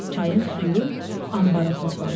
Çayın suyu anbarda toplanır.